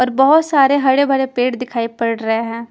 और बहोत सारे हरे भरे पेड़ दिखाई पड़ रहे हैं।